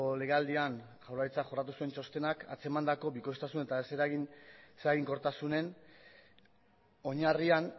legealdian jaurlaritzak jorratu zuen txostenak atzemandako bikoiztasun eta ez eraginkortasunen oinarrian